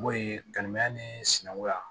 N b'o ye kalimɛ ni sinankunya